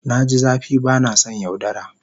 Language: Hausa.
Na ji zafi ba na son yaudara.